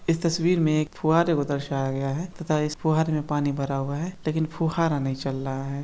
इस तस्वीर में एक फुहारे को दर्शाया गया है तथा इस फुहारे में पानी भरा हुआ है लेकिन फुहारा नहीं चल रहा है।